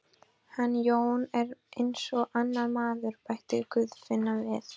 Hann Jón er eins og annar maður, bætti Guðfinna við.